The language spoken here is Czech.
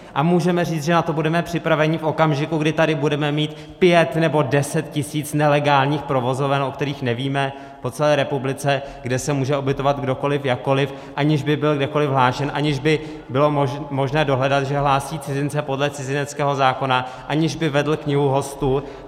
A můžeme říct, že na to budeme připraveni v okamžiku, kdy tady budeme mít pět nebo deset tisíc nelegálních provozoven, o kterých nevíme, po celé republice, kde se může ubytovat kdokoliv jakkoliv, aniž by byl kdekoliv hlášen, aniž by bylo možné dohledat, že hlásí cizince podle cizineckého zákona, aniž by vedl knihu hostů?